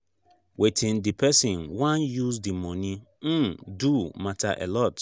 wetin di person wan use di money um do matter alot